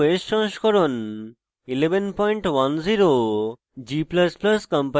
ubuntu os সংস্করণ 1110